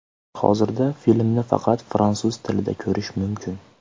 Hozirda filmni faqat fransuz tilida ko‘rish mumkin.